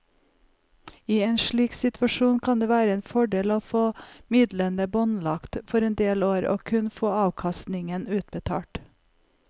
I en slik situasjon kan det være en fordel å få midlene båndlagt for en del år og kun få avkastningen utbetalt.